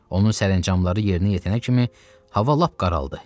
Onun sərəncamları yerinə yetənə kimi hava lap qaraldı.